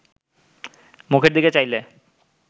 মুখের দিকে চাইলে